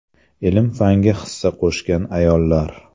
Ilm-fanga hissa qo‘shgan ayollar.